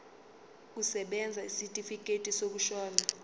kusebenza isitifikedi sokushona